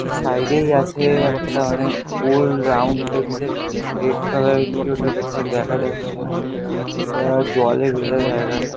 ওর side -এই আছে-এ একটা মানে গোল রাউন্ড টাইপস -এর রেড কালার -এর কি ওটা ঠিক থাকে দেখা যাচ্ছে না এটা জলে ভেজা জায়গাটা।